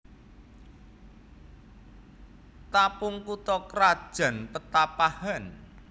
Tapung kutha krajan Petapahan